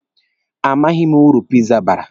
Amaghị m uru piza bara.